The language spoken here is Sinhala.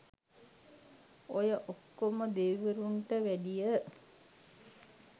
ඔය ඔක්කොම දෙවිවරුන්ට වැඩිය